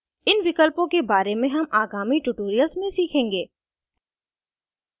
इन विकल्पों के बारे में हम आगामी tutorials में सीखेंगे